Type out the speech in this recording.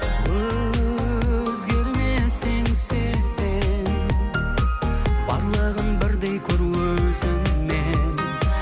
өзгерме сен серт бер барлығын бірдей көр өзіңмен